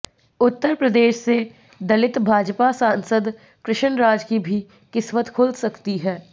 उत्तर प्रदेश से दलित भाजपा सांसद कृष्ण राज की भी किस्मत खुल सकती है